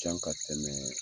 Can ka tɛmɛɛ